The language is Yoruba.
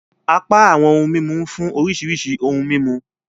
Apá awọn ohun mímú nfun oríṣiríṣi ohùn mímú.